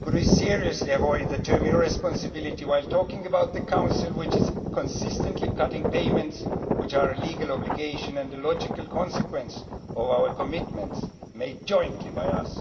Can we seriously avoid the term irresponsibility' while talking about the Council, which is consistently cutting payments which are a legal obligation and a logical consequence of the commitments made jointly by us?